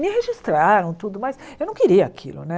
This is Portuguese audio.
Me registraram tudo, mas eu não queria aquilo né.